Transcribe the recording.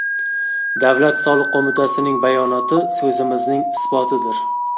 Davlat soliq qo‘mitasining bayonoti so‘zimizning isbotidir.